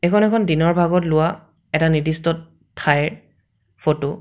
এইখন এখন দিনৰ ভাগত লোৱা এটা নিৰ্দিষ্ট ঠাইৰ ফটো ।